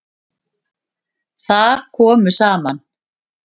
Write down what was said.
Þar komu saman